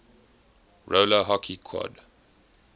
roller hockey quad